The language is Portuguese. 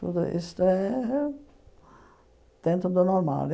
Tudo isso é dentro do normal.